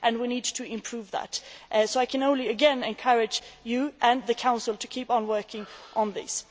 We need to improve that. Again, I can only encourage you and the Council to keep on working on this.